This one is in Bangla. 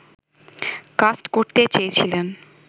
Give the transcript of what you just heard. কাস্ট করতে চেয়েছিলেন